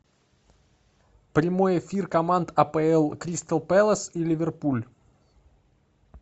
прямой эфир команд апл кристал пэлас и ливерпуль